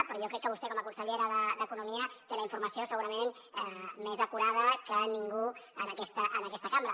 però jo crec que vostè com a consellera d’economia té la informació segurament més acurada que ningú en aquesta cambra